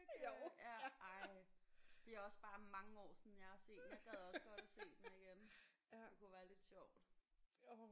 Ja ej det er også bare mange år siden jeg har set den. Jeg gad også at se den igen. Det kunne være lidt sjovt